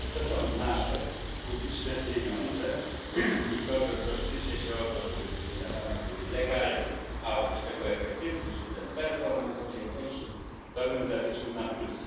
To są nasze publiczne pieniądze i to, że troszczycie się o to, żeby wydawane były legalnie, a oprócz tego efektywnie, czyli ten to bym zaliczył na plus.